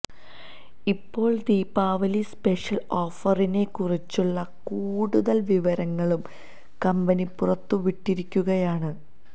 ഇപ്പോള് ദീപാവലി സ്പെഷ്യല് ഓഫറിനെക്കുറിച്ചുള്ള കൂടുതല് വിവരങ്ങളും കമ്പനി പുറത്തു വിട്ടിരിക്കുകയാണ്